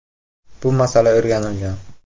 “Bu masala o‘rganilgan.